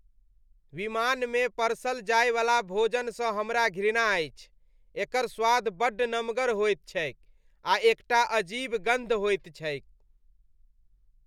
विमानमे परसल जायवला भोजनसँ हमरा घृणा अछि। एकर स्वाद बड्ड नमगर होइत छैक आ एकटा अजीब गन्ध होइत छैक।